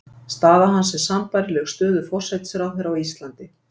staða hans er sambærileg stöðu forsætisráðherra á íslandi